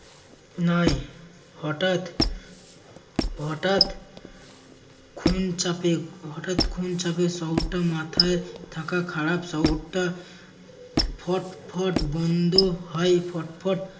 নাই হঠাৎ হঠাৎ খুন চাপে হঠাৎ খুন চাপে শহরটার মাথায় থাকা খারাপ শহরটা ফটফট বন্ধ হয় ফটফট